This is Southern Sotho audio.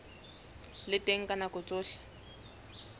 le teng ka nako tsohle